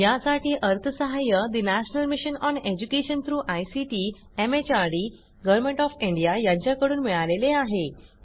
यासाठी national mission on education through ICT MHRD यांच्याकडून अर्थसहाय्य मिळालेले आहे